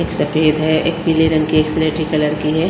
एक सफेद है एक पीले रंग की एक सलेटी कलर की है।